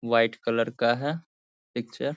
white colour का है picture --